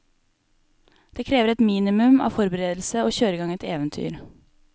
Det krever et minimum av forberedelse å kjøre i gang et eventyr.